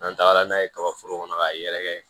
N'an tagara n'a ye kaba foro kɔnɔ k'a yɛrɛkɛ